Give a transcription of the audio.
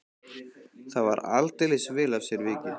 Það var aldeilis vel af sér vikið.